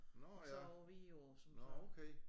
Nåh ja nåh okay